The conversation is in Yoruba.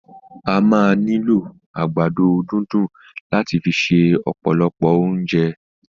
A máa ni lo àgbàdo dundun lat fi se ọpọlọ ounjẹ.